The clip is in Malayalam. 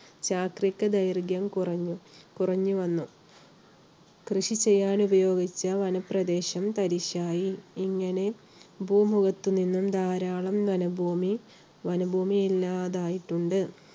ശാസ്ത്രീക ദൈർഘ്യവും കുറഞ്ഞു~കുറഞ്ഞുവന്നു. കൃഷി ചെയ്യാൻ ഉപയോഗിച്ച വനപ്രദേശം തരിശായി. ഇങ്ങനെ ഭൂമുഖത്തുനിന്നും ധാരാളം വനഭൂമി ഇല്ലാതായിട്ടുണ്ട്.